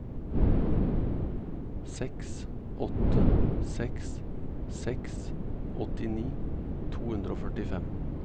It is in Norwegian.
seks åtte seks seks åttini to hundre og førtifem